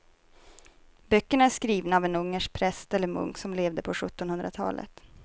Böckerna är skrivna av en ungersk präst eller munk som levde på sjuttonhundratalet.